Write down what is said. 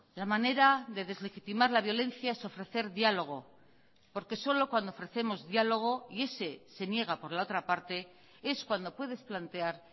la manera de deslegitimar la violencia es ofrecer diálogo porque solo cuando ofrecemos diálogo y ese se niega por la otra parte es cuando puedes plantear